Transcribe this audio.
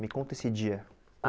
Me conta esse dia. Ah